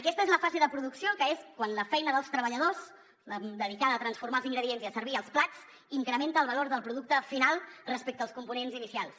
aquesta és la fase de producció que és quan la feina dels treballadors la dedicada a transformar els ingredients i a servir els plats incrementa el valor del producte final respecte als components inicials